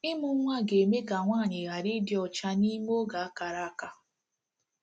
Ịmụ nwa ga-eme ka nwaanyị ghara ịdị ọcha n'ime oge a kara aka.